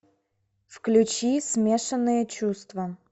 включи смешанные чувства